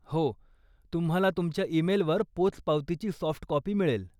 हो तुम्हाला तुमच्या ईमेलवर पोचपावतीची सॉफ्ट कॉपी मिळेल.